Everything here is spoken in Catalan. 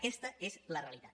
aquesta és la realitat